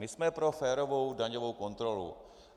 My jsme po férovou daňovou kontrolu.